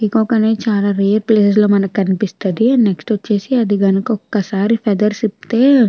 peacock అనేది చాల rare place లోమనకి కనిపిస్తది నెక్స్ట్ వచ్చేసి అది గనుక ఒక్కసారి ఫెథెర్స్ ఇప్పుతే --